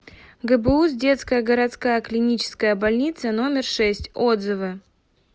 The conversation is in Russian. гбуз детская городская клиническая больница номер шесть отзывы